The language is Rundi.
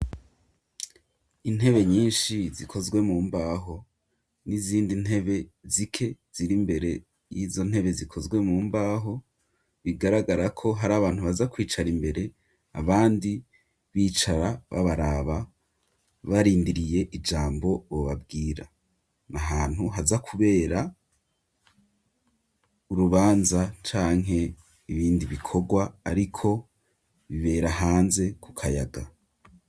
Intebe nyinshi zikozwe mu mbaho ,n'izindi ntebe zike ziri mbere y'izo ntebe zikozwe mu mbaho, bigaragara ko hari abantu baza kwicara imbere abandi bicara babaraba barindiriye ijambo bobabwira, na hantu haza kubera urubanza canke ibindi bikorwa ariko bibera hanze ku kayaga.